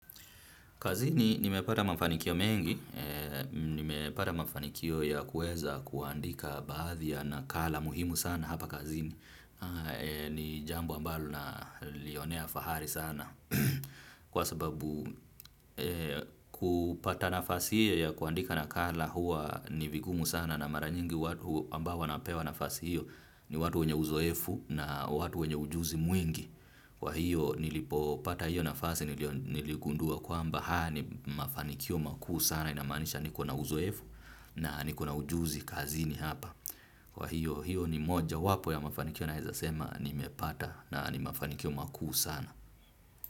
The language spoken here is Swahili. Kazini, nimepata mafanikio mengi, nimepata mafanikio ya kuweza kuandika baadhi ya nakala muhimu sana hapa kazini. Ni jambo ambalo nalionea fahari sana. Kwa sababu kupata nafasi ya kuandika nakala huwa ni vigumu sana na mara nyingi ambao wanapewa nafasi hiyo ni watu wenye uzoefu na watu wenye ujuzi mwingi. Kwahiyo nilipopata hiyo nafasi niligundua kwamba haya ni mafanikio makuu sana inamanisha niko na uzoefu na niko na ujuzi kazini hapa. Kwa hiyo hiyo ni moja wapo ya mafanikio naweza sema nimepata na ni mafanikio makuu sana.